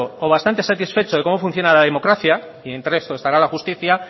o bastante satisfecho de cómo funciona la democracia y entre eso estará la justicia